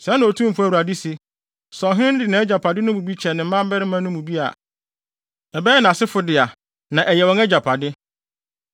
“ ‘Sɛɛ na Otumfo Awurade se: Sɛ ɔhene no de nʼagyapade no mu bi kyɛ ne mmabarima no mu bi a, ɛbɛyɛ nʼasefo dea na ɛyɛ wɔn agyapade.